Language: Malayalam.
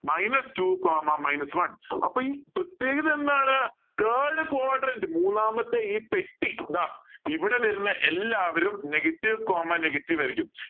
minus two comma minus one അപ്പൊ ഈ പ്രേത്യേഗത എന്താണ് third quadrant മൂന്നാമത്തെ ഈ പെട്ടി ഇതാ ഇവിടെ വരുന്ന എല്ലാവരും negative comma negative ആയിരിക്കും